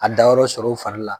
A dayɔrɔ sɔrɔ u fari la